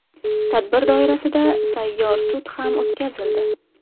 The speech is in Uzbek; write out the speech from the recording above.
Tadbir doirasida sayyor sud ham o‘tkazildi.